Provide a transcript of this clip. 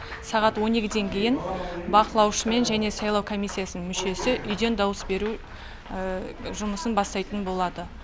сағат он екіден кейін бақылаушымен және сайлау комиссиясының мүшесі үйден дауыс беру жұмысын бастайтын болады